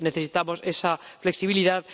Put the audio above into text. Necesitamos esa flexibilidad.